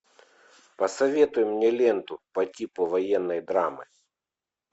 посоветуй мне ленту по типу военной драмы